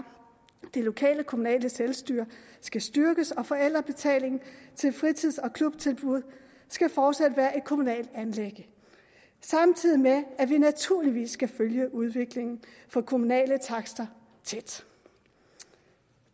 det lokale kommunale selvstyre skal styrkes og forældrebetalingen til fritids og klubtilbud skal fortsat være et kommunalt anliggende samtidig med at vi naturligvis skal følge udviklingen for kommunale takster tæt